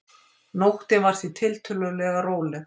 Nóttin var því tiltölulega róleg